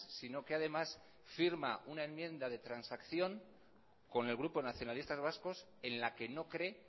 sino que además firma una enmienda de transacción con el grupo nacionalistas vascos en la que no cree